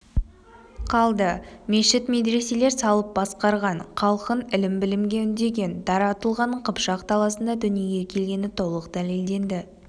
қалды мешіт-медреселер салып басқарған халқын ілім-білімге үндеген дара тұлғаның қыпшақ даласында дүниеге келгені толық дәлелденді